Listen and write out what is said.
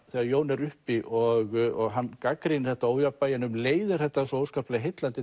þegar Jón er uppi og hann gagnrýnir þetta ójafnvægi en um leið er þetta svo óskaplega heillandi